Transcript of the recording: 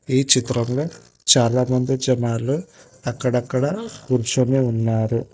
ఈ చిత్రంలో చాలామంది జనాలు అక్కడక్కడ కూర్చుని ఉన్నారు.